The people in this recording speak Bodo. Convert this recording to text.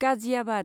गाजियाबाद